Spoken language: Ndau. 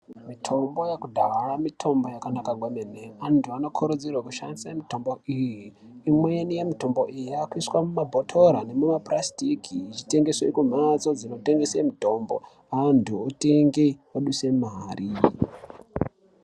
Mitombo yekudhaya mitombo yakanaka kwemene. Antu anokurudzirwa kushandise mitombo iyi. Imweni yemiyombo iyi yakuiswe mumabhotora nemumapurasitiki ichitengeswe kumhatso dzinotengese mitombo antu otenge, oduse mari.